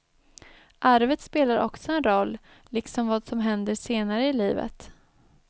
Arvet spelar också en roll liksom vad som händer senare i livet.